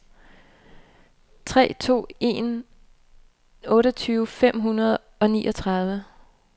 tre to to en otteogtyve fem hundrede og niogtredive